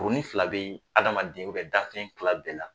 Kurunin fila bɛ yen, adamaden bɛɛ, dan fɛn tila bɛɛ la.